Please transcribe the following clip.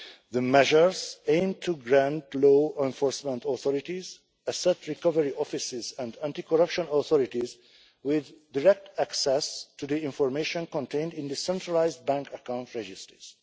The measures aim to grant law enforcement authorities, asset recovery offices and anti corruption authorities direct access to the information contained in the centralised bank account registers.